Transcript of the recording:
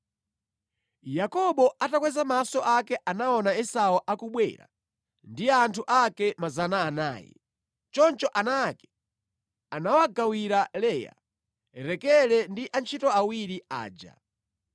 Yakobo atakweza maso ake anaona Esau akubwera ndi anthu ake 400. Choncho ana ake anawagawira Leya, Rakele ndi antchito awiri aja.